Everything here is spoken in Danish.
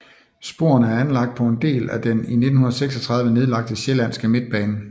Sporene er anlagt på en del af den i 1936 nedlagte Sjællandske Midtbane